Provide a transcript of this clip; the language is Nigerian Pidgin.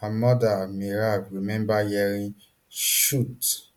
her mother meirav remember hearing shots